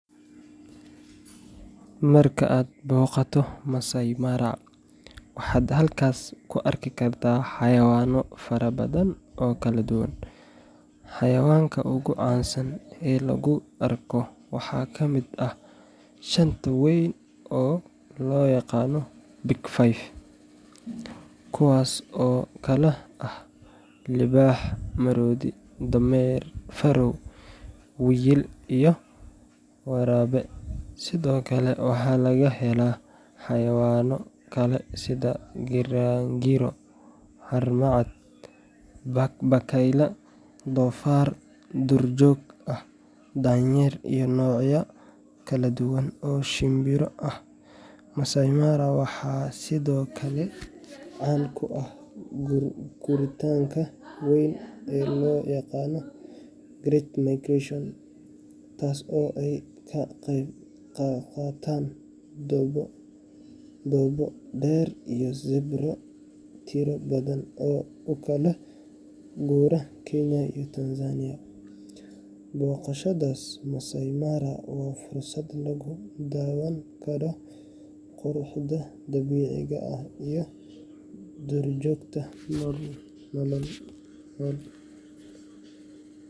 Marka aad booqato Maasai Mara, waxaad halkaas ku arki kartaa xayawaano fara badan oo kala duwan. Xayawaanka ugu caansan ee lagu arko waxaa ka mid ah shanta weyn oo loo yaqaan Big Five kuwaas oo kala ah: libaax, maroodi, dameer farow, wiyil, iyo waraabe. Sidoo kale, waxaa laga helaa xayawaano kale sida giraangiro, haramcad, bakayle, doofaar duurjoog ah, daanyeero iyo noocyo kala duwan oo shimbiro ah. Maasai Mara waxaa sidoo kale caan ku ah guuritaanka weyn ee loo yaqaan Great Migration, taas oo ay ka qayb qaataan dhoobo, deero iyo zebro tiro badan oo u kala guura Kenya iyo Tanzania. Booqashada Maasai Mara waa fursad lagu daawan karo quruxda dabiiciga ah iyo duurjoogta nool.